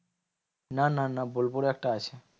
না না না বোলপুরে একটা আছে।